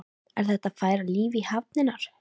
Er þetta að færa líf í hafnirnar?